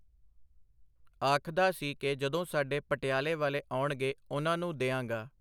ਆਖਦਾ ਸੀ ਕਿ ਜਦੋਂ ਸਾਡੇ ਪਟਿਆਲੇ ਵਾਲੇ ਆਉਣਗੇ ਉਨ੍ਹਾਂ ਨੂੰ ਦਿਆਂਗਾ.